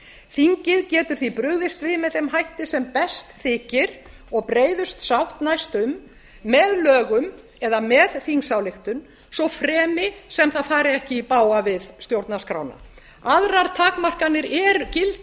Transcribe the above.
þingið getur því brugðist við með þeim hætti sem best þykir og breiðust sátt næst um með lögum eða með þingsályktun svo fremi sem það fari ekki i bága stjórnarskrána aðrar takmarkanir gilda